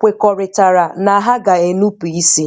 kwekọrịtara na ha ga-enupu isi.